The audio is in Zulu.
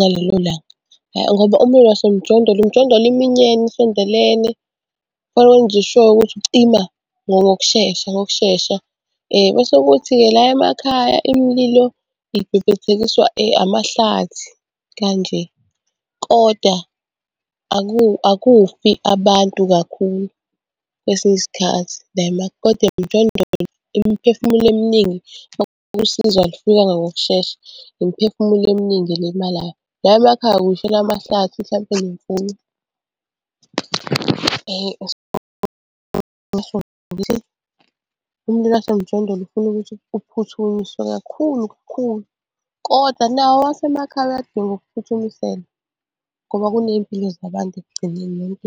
ngalelo langa, ngoba umlilo wasemjondolo imjondolo iminyene isondelene kufanele wenze sure ukuthi ucima ngokushesha ngokushesha. Bese kuthi-ke la emakhaya imililo ibhebhethekiswa amahlathi kanje, koda akufi abantu kakhulu kwesinye isikhathi koda emjondolo imiphefumulo eminingi usizo alufikanga ngokushesha imiphefumulo eminingi elimalayo. La emakhaya kuy'shela amahlathi mhlampe nemfuyo . Umlilo wasemjondolo ufuna ukuthi uphuthumiswe kakhulu kakhulu koda nawo owasemakhaya uyadinga ukuphuthumiselwa ngoba kuney'mpilo zabantu ekugcineni.